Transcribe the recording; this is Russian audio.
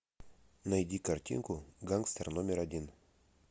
найди картинку гангстер номер один